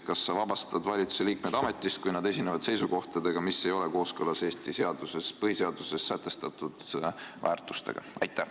Kas sa vabastad mõne ministri ametist, kui ta on esinenud seisukohtadega, mis ei ole kooskõlas Eesti põhiseaduses sätestatud väärtustega?